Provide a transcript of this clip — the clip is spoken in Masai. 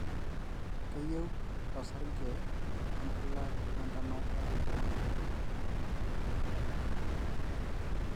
keyieu osarge, nkulak ,we-ntamata onkik,